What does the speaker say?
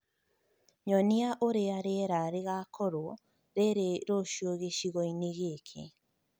Nyonia ũrĩa rĩera rĩgaakorũo rĩrĩ rũciũ gĩcigo-inĩ gĩkĩ